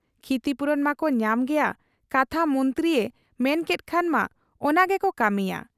ᱠᱷᱤᱛᱤᱯᱩᱨᱚᱱ ᱢᱟᱠᱚ ᱧᱟᱢ ᱜᱮᱭᱟ ᱠᱟᱛᱷᱟ ᱢᱚᱱᱛᱨᱤᱭᱮ ᱢᱮᱱᱠᱮᱫ ᱠᱷᱟᱱ ᱢᱟ ᱚᱱᱠᱟᱜᱮᱵᱚ ᱠᱟᱹᱢᱤᱭᱟ ᱾